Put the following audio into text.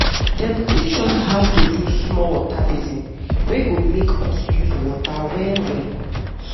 dem teach us how to do small water basin wey go make us use water well well.